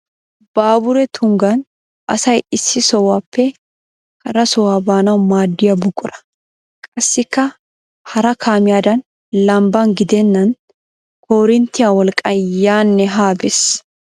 Baaburee tunggan asay issi sohuwaappe hara sohuwa baanawu maaddiya buqura. Qassikka hara kaamiyaadan lambban gidennan koorinttiya wolqqan yaanne haa bes.